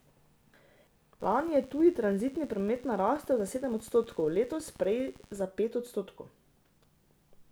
Lani je tuji tranzitni promet narastel za sedem odstotkov, leto prej za pet odstotkov.